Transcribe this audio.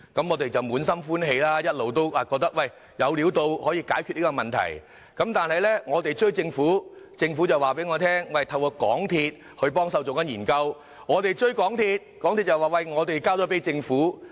我們滿心歡喜，以為有機會解決這問題，但當我們追問政府時，政府告訴我們會透過港鐵公司幫忙進行研究；當我們追問港鐵公司時，港鐵公司又說已交給政府研究。